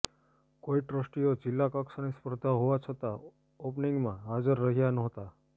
કોઇ ટ્રસ્ટીઓ જિલ્લા કક્ષાની સ્પર્ધા હોવા છતાં ઓપનીંગમાં હાજર રહ્યા નહોતા